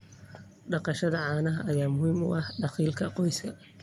Dhaqashada caanaha ayaa muhiim u ah dakhliga qoyska.